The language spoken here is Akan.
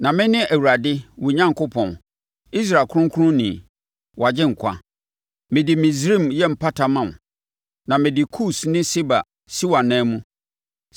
Na mene Awurade, wo Onyankopɔn, Israel Kronkronni, wo Agyenkwa. Mede Misraim yɛ mpata ma wo na mede Kus ne Seba si wʼananmu mu.